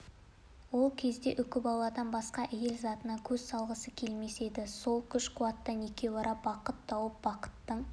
ол кезде үкібаладан басқа әйел затына көз салғысы келмес еді сол күш-қуаттан екеуара бақыт туып бақыттың